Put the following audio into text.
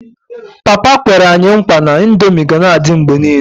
Papa kwere anyi nkwa na ndomi gana adi mgbe nile